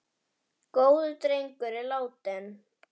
Góður drengur er látinn.